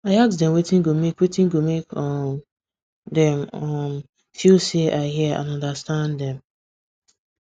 i ask dem wetin go make wetin go make um dem um feel say i hear and understand dem